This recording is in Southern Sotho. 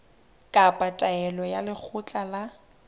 kapa taelo ya lekgotla la